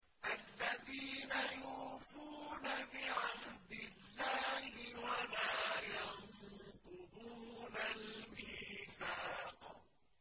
الَّذِينَ يُوفُونَ بِعَهْدِ اللَّهِ وَلَا يَنقُضُونَ الْمِيثَاقَ